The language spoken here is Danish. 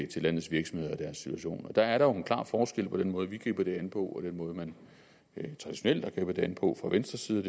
til landets virksomheder og deres situation der er jo en klar forskel på den måde vi griber det an på og den måde man traditionelt har grebet det an på fra venstres side